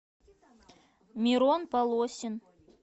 мирон полосин